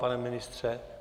Pane ministře?